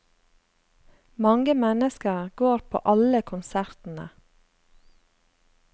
Mange mennesker går på alle konsertene.